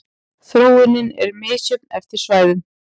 Þróunin er misjöfn eftir svæðum.